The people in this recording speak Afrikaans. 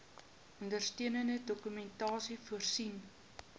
ondersteunende dokumentasie voorsien